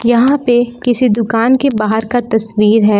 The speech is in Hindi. यहां पे किसी दुकान के बाहर का तस्वीर है।